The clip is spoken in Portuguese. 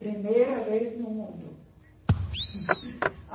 Primeira vez no mundo.